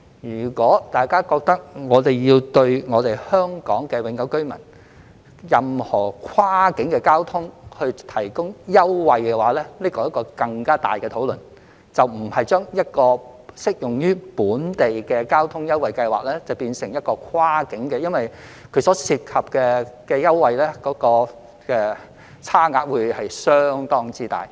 如果大家覺得政府也要為香港永久居民使用任何跨境交通提供優惠，這涉及更大的討論，而不是將一項只適用於本地交通的優惠計劃變成一項跨境優惠計劃，因為所涉及的優惠差額會相當大。